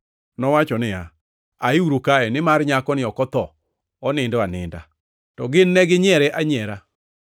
nowacho niya, “Aiuru kae; nimar nyakoni ok otho, onindo aninda.” To gin neginyiere anyiera.